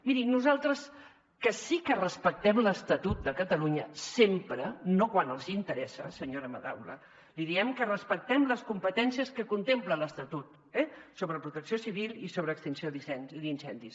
miri nosaltres que sí que respectem l’estatut de catalunya sempre no quan els interessa senyora madaula li diem que respectem les competències que contempla l’estatut eh sobre protecció civil i sobre extinció d’incendis